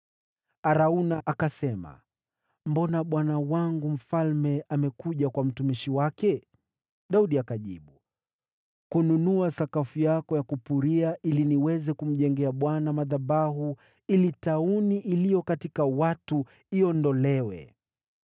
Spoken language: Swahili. Arauna akasema, “Mbona bwana wangu mfalme amekuja kwa mtumishi wake?” Daudi akajibu, “Kununua sakafu yako ya kupuria, ili niweze kumjengea Bwana madhabahu, ili tauni iliyo katika watu iondolewe.”